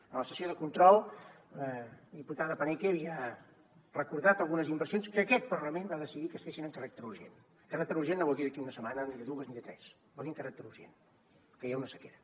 en la sessió de control la diputada paneque havia recordat algunes inversions que aquest parlament va decidir que es fessin amb caràcter urgent caràcter urgent no vol dir d’aquí a una setmana ni de dues ni de tres vol dir amb caràcter urgent que hi ha una sequera